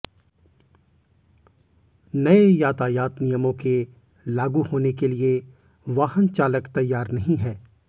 नए यातायात नियमों के लागू होने के लिए वाहनचालक तैयार नहीं है